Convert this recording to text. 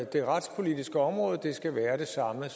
det retspolitiske område skal være det samme